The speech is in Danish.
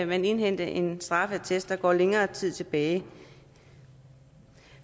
man indhente en straffeattest der går længere tid tilbage